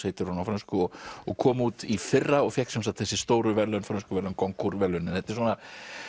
heitir hún á frönsku og og kom út í fyrra og fékk sem sagt þessi stóru verðlaun frönsku verðlaun verðlaunin þetta er svona